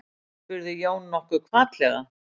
spurði Jón nokkuð hvatlega.